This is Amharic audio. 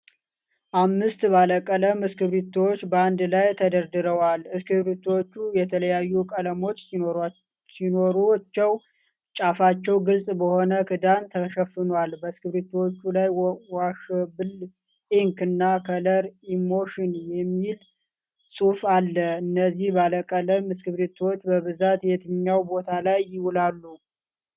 አምስት ባለቀለም እስክሪቢቶዎች በአንድ ላይ ተደርድረዋል። እስክሪቢቶዎቹ የተለያዩ ቀለሞች ሲኖሩ፣ ጫፋቸው ግልጽ በሆነ ክዳን ተሸፍኗል። በእስክሪቢቶዎቹ ላይ 'ዋሸብል ኢንክ' እና 'ከለር ኢሞሽን' የሚል ጽሁፍ አለ። እነዚህ ባለቀለም እስክሪቢቶዎች በብዛት የትኛው ቦታ ላይ ይውላሉ?